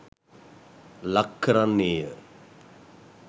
ලක් කරන්නේය.